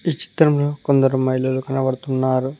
ఈ చిత్రంలో కొందరు మహిళలు కనబడుతున్నారు.